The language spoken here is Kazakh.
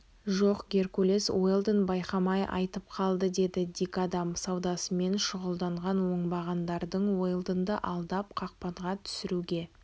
жоқ геркулес уэлдон байқамай айтып қалды деді дикадам саудасымен шұғылданған оңбағандардың уэлдонды алдап қақпанға түсіруге